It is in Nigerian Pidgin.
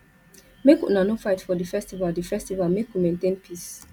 make una no fight for di festival di festival make we maintain peace